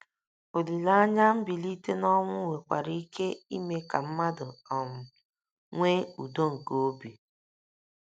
Olileanya mbilite n’ọnwụ nwekwara ike ime ka mmadụ um nwee udo nke obi.